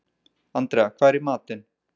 Andrea, hvað er í matinn?